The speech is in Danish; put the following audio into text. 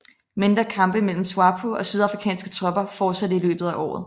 Mindre kampe mellem SWAPO og sydafrikanske tropper fortsatte i løbet af året